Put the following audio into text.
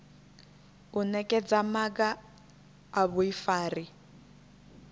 u nekedza maga a vhuifari